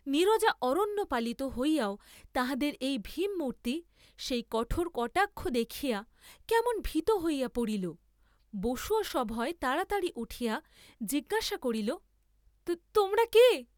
নীরজা অরণ্যপালিত হইয়াও তাহাদের এই ভীমমূর্ত্তি, সেই কঠোর কটাক্ষ দেখিয়া কেমন ভীত হইয়া পড়িল, বসুও সভয়ে তাড়াতাড়ি উঠিয়া জিজ্ঞাসা করিল তোমরা কে?